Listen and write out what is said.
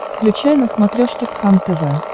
включай на смотрешке кхлм тв